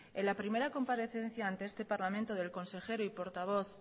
en la primera comparecencia ante este parlamento del consejero y portavoz